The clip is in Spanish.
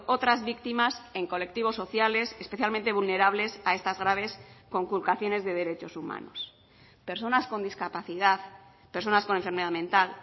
otras víctimas en colectivos sociales especialmente vulnerables a estas graves conculcaciones de derechos humanos personas con discapacidad personas con enfermedad mental